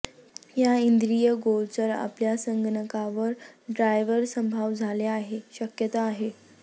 या इंद्रियगोचर आपल्या संगणकावर ड्राइवर अभाव झाले आहे शक्यता आहे